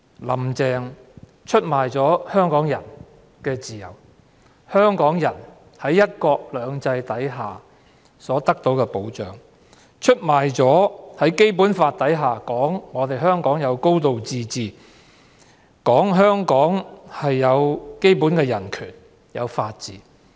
"林鄭"出賣了香港人的自由、在"一國兩制"下所得到的保障，也出賣了香港在《基本法》下享有的"高度自治"、基本人權和法治。